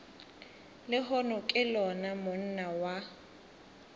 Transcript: lehono ke lona monna wa